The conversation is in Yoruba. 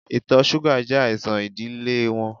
Itọ ṣuga jẹ aisan idile wọn